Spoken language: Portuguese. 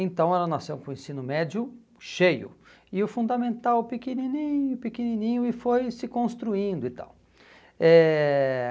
Então, ela nasceu com o ensino médio cheio, e o fundamental pequenininho, pequenininho, e foi se construindo e tal. Eh